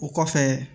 O kɔfɛ